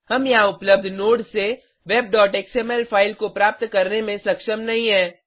हम यहाँ उपलब्ध नोड्स से webएक्सएमएल फाइल को प्राप्त करने में सक्षम नहीं हैं